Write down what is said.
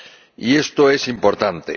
y esto es importante.